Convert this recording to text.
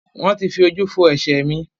Wọ́n ti fojú fo ẹ̀ṣẹ̀ mi.